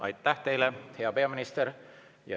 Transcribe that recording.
Aitäh teile, hea peaminister!